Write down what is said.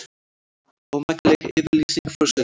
Ómakleg yfirlýsing forsetans